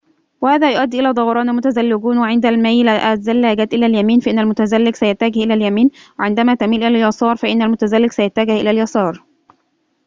وهذا يؤدي إلى دوران المتزلجون وعند ميل الزلاجات إلى اليمين فإن المتزلج سيتجه إلى اليمين وعندما تميل إلى اليسار فإن المتزلج سيتجه إلى اليسار